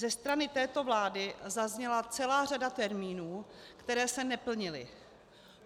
Ze strany této vlády zazněla celá řada termínů, které se neplnily.